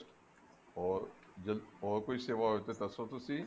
ਹੋਰ ਹੋਰ ਕੋਈ ਸੇਵਾ ਹੋਵੇ ਤਾਂ ਦੱਸੋ ਤੁਸੀਂ